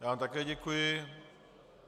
Já vám také děkuji.